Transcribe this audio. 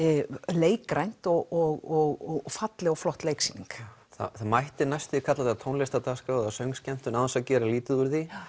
leikrænt og falleg og flott leiksýning það mætti næstum því kalla þetta tónlistardagskrá eða söngskemmtun án þess að gera lítið úr því